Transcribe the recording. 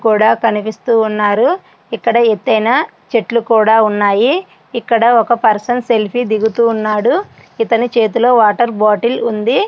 కూడా కనిపిస్తూ ఉన్నారు ఇక్కడ ఎత్తైన చెట్లు కూడా ఉన్నాయి ఇక్కడ పర్సన్ సెల్ఫీ దిగుతున్నాడు ఇతని చేతిలోని వాటర్ బాటిల్ ఉంది.